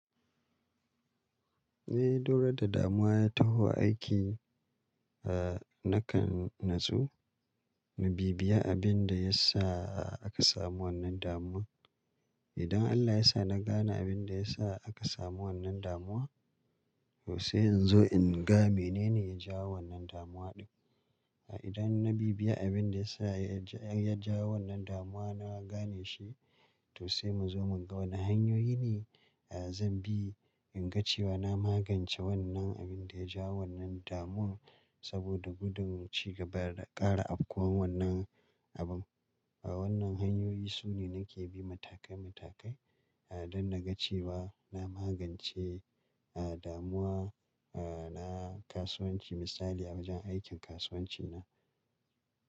Eh, duk ranar da damuwa ya taho aiki, eh, nakan natsu. In bibbiya abin da ya sa aka samu wannan damuwa. Idan Allah ya sa na gane abin da ya sa aka samu wannan damuwa, to sai in zo in ga menene ya jawo wannan damuwa ɗin. Idan na bibbiya abin da ya sa ya jawo wannan damuwa na gane shi, to sai mu zo mu ga wane hanyoyi ne zan bi in ga cewa na magance wannan abin da ya jawo wannan damuwa saboda gudun ci gaba da ƙara afkuwan wannan abun. Wannan hanyoyi su ne nake bi matakai matakai don na ga cewa na magance damuwa na kasuwanci misali a wajen aikin kasuwanci na.